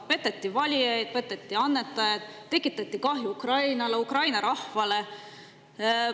Peteti valijaid, peteti annetajaid, tekitati kahju Ukrainale, Ukraina rahvale.